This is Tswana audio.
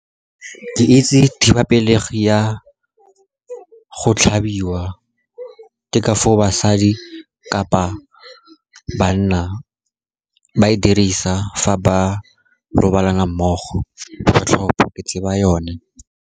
Ke itse thibapelegi ya go tlhabiwa, ke ka foo basadi kapa banna ba e dirisa fa ba robalana mmogo, kgotlhopho, ke tseba yone.